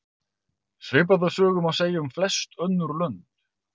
Svipaða sögu má segja um flest önnur lönd.